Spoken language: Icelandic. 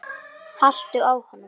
haltu á honum!